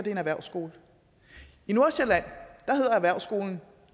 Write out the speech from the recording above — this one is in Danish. en erhvervsskole i nordsjælland hedder erhvervsskolen